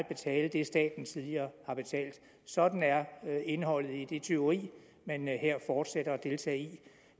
betale det staten tidligere har betalt sådan er indholdet i det tyveri man her fortsætter med at deltage i